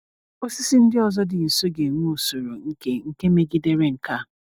Osisi ndị ọzọ dị nso ga-enwe usoro nke nke megidere nke a.